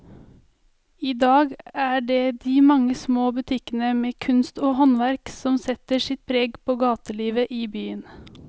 I dag er det de mange små butikkene med kunst og håndverk som setter sitt preg på gatelivet i byen.